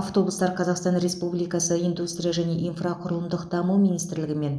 автобустар қазақстан республикасы индустрия және инфрақұрылымдық даму министрлігі мен